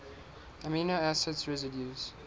amino acid residues